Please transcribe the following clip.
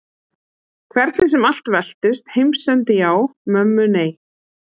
Hvernig sem allt veltist. heimsendi já, mömmu nei.